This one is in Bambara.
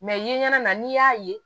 Mɛ ye ɲɛna na n'i y'a ye